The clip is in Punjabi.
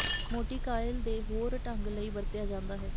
ਮੋਟੀ ਕਾਇਲ ਦੇ ਹੋਰ ਢੰਗ ਲਈ ਵਰਤਿਆ ਜਾਦਾ ਹੈ